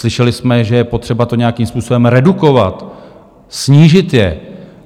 Slyšeli jsme, že je potřeba to nějakým způsobem redukovat, snížit je.